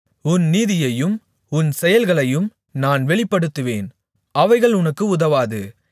உன் நீதியையும் உன் செயல்களையும் நான் வெளிப்படுத்துவேன் அவைகள் உனக்கு உதவாது